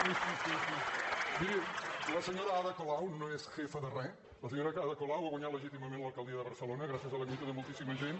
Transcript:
miri la senyora ada colau no és jefa de re la senyora ada colau ha guanyat legítimament l’alcaldia de barcelona gràcies a la lluita de moltíssima gent